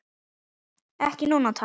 Ekki núna, takk.